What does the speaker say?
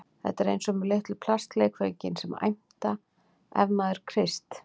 Þetta er eins og með litlu plastleikföngin sem æmta ef maður kreist